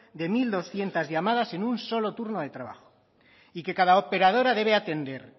de mil doscientos llamadas en un solo turno de trabajo y que cada operadora debe atender